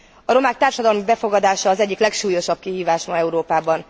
A romák társadalmi befogadása az egyik legsúlyosabb kihívás ma Európában.